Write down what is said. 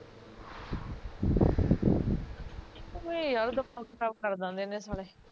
ਊਏ ਯਾਰ ਦਿਮਾਗ ਖਰਾਬ ਕਰ ਦਿਦੇ ਨੇ ਸਾਲੇ